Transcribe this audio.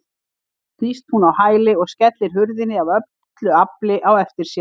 Svo snýst hún á hæli og skellir hurðinni af öllu afli á eftir sér.